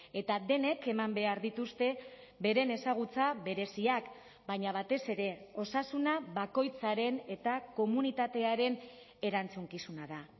eta denek eman behar dituzte beren ezagutza bereziak baina batez ere osasuna bakoitzaren eta komunitatearen erantzukizuna da